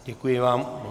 Děkuji vám.